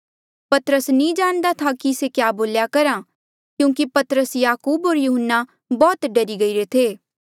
पतरस नी जाणदा था कि से क्या बोल्या करहा क्यूंकि पतरस याकूब होर यहून्ना बौह्त डरी गईरे थे